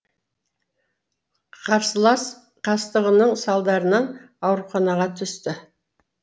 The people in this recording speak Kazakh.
қарсылас қастығының салдарынан ауруханаға түсті